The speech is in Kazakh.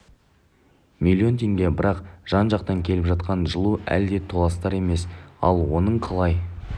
миллион теңге бірақ жан жақтан келіп жатқан жылу әлі де толастар емес ал оның қалай